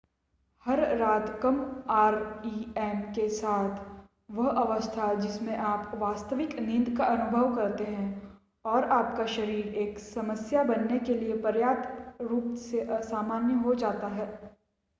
हर रात कम आरईएम के साथ वह अवस्था जिसमें आप वास्तविक नींद का अनुभव करते हैं और आपका शरीर एक समस्या बनने के लिए पर्याप्त रूप से असामान्य हो जाता है